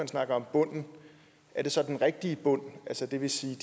snakker om bunden er det så er den rigtige bund det vil sige